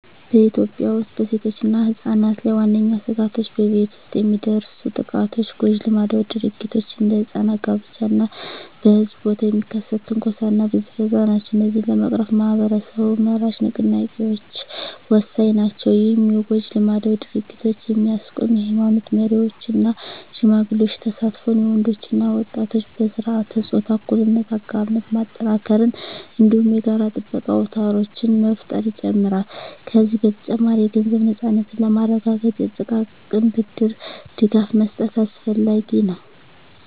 በኢትዮጵያ ውስጥ በሴቶችና ሕጻናት ላይ ዋነኛ ስጋቶች በቤት ውስጥ የሚደርሱ ጥቃቶች፣ ጎጂ ልማዳዊ ድርጊቶች (እንደ ሕጻናት ጋብቻ) እና በሕዝብ ቦታ የሚከሰት ትንኮሳና ብዝበዛ ናቸው። እነዚህን ለመቅረፍ ማኅበረሰብ-መራሽ ንቅናቄዎች ወሳኝ ናቸው። ይህም የጎጂ ልማዳዊ ድርጊቶችን የሚያስቆም የኃይማኖት መሪዎች እና ሽማግሌዎች ተሳትፎን፣ የወንዶች እና ወጣቶች በሥርዓተ-ፆታ እኩልነት አጋርነት ማጠናከርን፣ እንዲሁም የጋራ ጥበቃ አውታሮችን መፍጠርን ይጨምራል። ከዚህ በተጨማሪ፣ የገንዘብ ነፃነትን ለማረጋገጥ የጥቃቅን ብድር ድጋፍ መስጠት አስፈላጊ ነው።